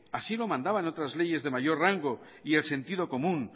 así lo mandaban otras leyes de mayor rango y el sentido común